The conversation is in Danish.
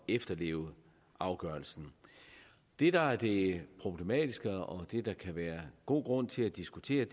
efterleve afgørelsen det der er det problematiske og det der kan være god grund til at diskutere